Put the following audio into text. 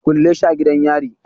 Kulle shi a gidan yari